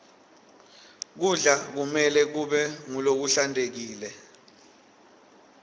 kudla kumelwe kube ngulokuhlantekile